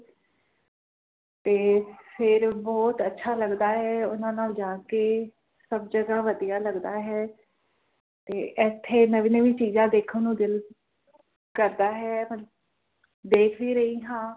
ਤੇ ਫਿਰ ਬਹੁਤ ਅੱਛਾ ਲੱਗਦਾ ਹੈ ਓਹਨਾ ਨਾਲ ਜਾ ਕੇ ਸਭ ਜਗ੍ਹਾ ਵਧੀਆ ਲੱਗਦਾ ਹੈਂ ਤੇ ਏਥੇ ਨਵੀਂ ਨਵੀਂ ਚੀਜਾਂ ਦੇਖਣ ਨੂੰ ਦਿੱਲ ਕਰਦਾ ਹੈਂ ਮਤ ਦੇਖ ਵੀ ਰਹੀ ਹਾਂ